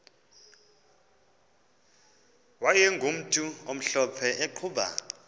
wayegumntu omhlophe eqhuba